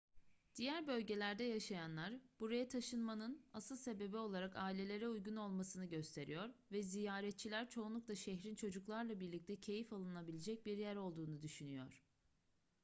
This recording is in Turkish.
diğer bölgelerde yaşayanlar buraya taşınmanın asıl sebebi olarak ailelere uygun olmasını gösteriyor ve ziyaretçiler çoğunlukla şehrin çocuklarla birlikte keyif alınabilecek bir yer olduğunu düşünüyor